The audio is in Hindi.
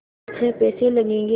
छः पैसे लगेंगे